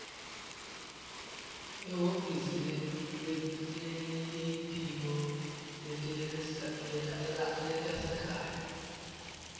ehhovisi lelitiko letasekhaya